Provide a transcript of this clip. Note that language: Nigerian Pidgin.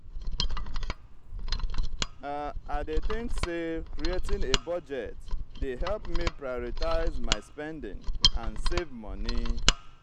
i dey think say creating a budget dey help me prioritize my spending and save monie.